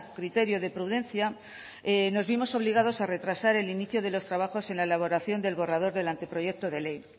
criterio de prudencia nos vimos obligados a retrasar el inicio de los trabajos en la elaboración del borrador del anteproyecto de ley